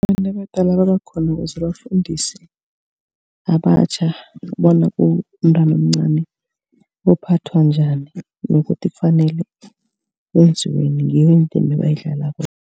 Abantu abadala nabakhona kufuze bafundise abatjha bona umntwana omncani uphathwa njani. Nokuthi kufanele kwenziweni ngiyo indima ebayidlalako